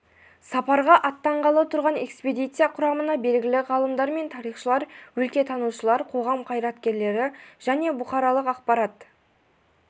сапарға аттанғалы тұрған экспедиция құрамына белгілі ғалымдар мен тарихшылар өлкетанушылар қоғам қайраткерлері және бұқаралық ақпарат